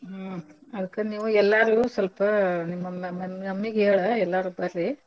ಹ್ಮ್ ಅದ್ಕ ನೀವು ಎಲ್ಲರೂ ಸ್ವಲ್ಪ ನಿಮ್~ ನಿಮ್ mummy ಗೆ ಹೇಳ್ ಎಲ್ಲರೂ ಬರ್ರಿ.